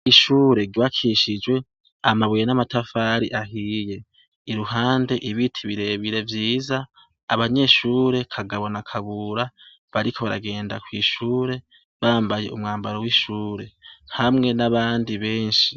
Ishure ryubakishijwe amabuye n'amatafari ahiye, iruhande ibiti birebire vyiza abanyeshure Kagabo na Kabura bariko baragenda kw’ishure bambay’umwambaro w'ishure hamwe n'abandi benshi.